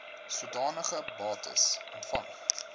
sodanige bates ontvang